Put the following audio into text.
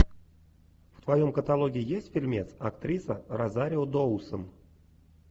в твоем каталоге есть фильмец актриса розарио доусон